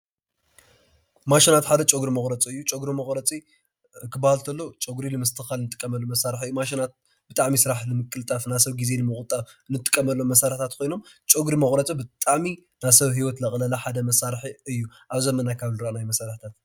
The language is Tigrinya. ማሽናት ሓደ ጨጉሪ መቁረፂ እዩ ጨጉሪ መቁረፂ ክበሃል እንተሎ ጨጉሪ ንምስትክካል ዝግበር ማሽን እዩ ማሽናት ብጣዕሚ ስራሕ ንምቅልጣፍ ፣ግዜ ንምቅልጣፍ እንጥቀመሎም መሳሪሒታት ኮይኖም ፀጉሪ መቁረፂ ብጣዕሚ ናይ ሰብ ሂወት ዝቀለለ ሓደ መሳሪሒ እዩ ኣብ ዘመና ካብ ዝረአናዮም መሳሪሒታት እዩ።